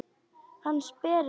Hann sperrir eyrun.